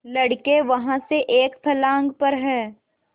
लड़के वहाँ से एक फर्लांग पर हैं